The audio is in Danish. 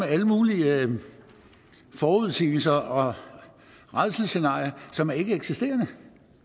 alle mulige forudsigelser og rædselsscenarier som ikke eksisterer